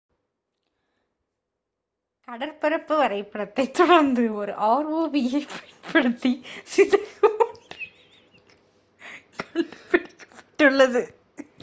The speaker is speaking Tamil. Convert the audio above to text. கடற்பரப்பு வரைபடத்தைத் தொடர்ந்து ஒரு rov-ஐப் பயன்படுத்தி சிதைவு ஒன்று கண்டுபிடிக்கப்பட்டது